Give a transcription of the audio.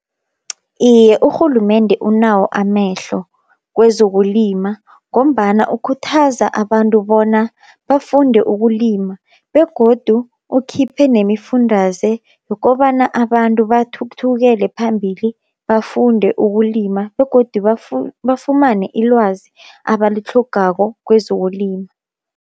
Iye urhulumende unawo amehlo kwezokulima, ngombana ukhuthaza abantu bona bafunde ukulima begodu ukhiphe nemifundaze yokobana abantu bathuthukele phambili bafunde ukulima, begodu bafumane ilwazi abalitlhogako kwezokulima.